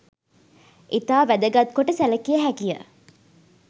ඉතා වැදගත්කොට සැළකිය හැකිය.